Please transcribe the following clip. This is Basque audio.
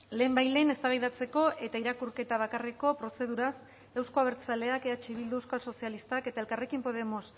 lehenbailehen eztabaidatzeko eta irakurketa bakarreko prozeduraz euzko abertzaleak eh bildu euskal sozialistak eta elkarrekin podemos